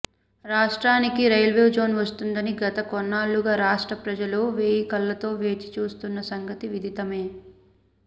రాష్ట్రానికి రైల్వేజోన్ వస్తుందని గత కొన్నేళ్లుగా రాష్ట్ర ప్రజలు వేయికళ్లతో వేచి చూస్తున్న సంగతి విధితమే